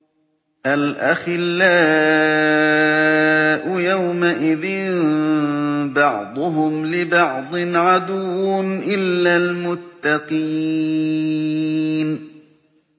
الْأَخِلَّاءُ يَوْمَئِذٍ بَعْضُهُمْ لِبَعْضٍ عَدُوٌّ إِلَّا الْمُتَّقِينَ